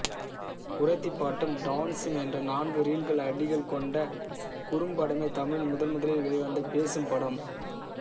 குறத்திப் பாட்டும் டான்ஸூம் என்ற நான்கு ரீல்கள் அடிகள் கொண்ட குறும்படமே தமிழில் முதன்முதலில் வெளி வந்த பேசும் படம்